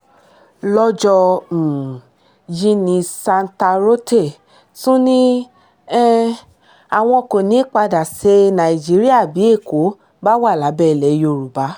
lọ́jọ́ um yìí ni santarote tún ní um àwọn kò ní í padà ṣe nàìjíríà bí èkó bá wà lábẹ́ ilẹ̀ yorùbá